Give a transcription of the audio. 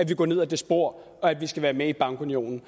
vil gå ned ad det spor og at vi skal være med i bankunionen